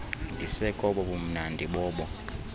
ndisekobo bumnandi bobo